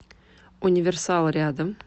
универсал рядом